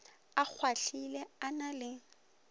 a kgwahlile a na le